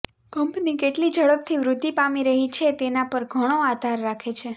company કેટલી ઝડપથી વૃદ્ધિ પામી રહી છે તેના પર ઘણો આધાર રાખે છે